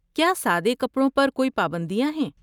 کیا سادے کپڑوں پر کوئی پابندیاں ہیں؟